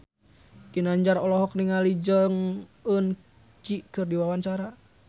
Ginanjar olohok ningali Jong Eun Ji keur diwawancara